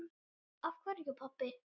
Af hverju, pabbi?